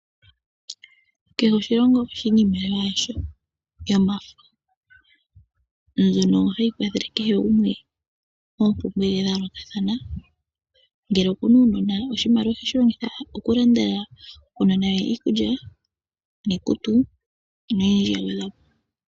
Iimaliwa ohayi longithwa muuyuni koonono. Ohayi longithwa ngele aantu ya hala okulanda iinima ya wo mbyoka ya pumbwa.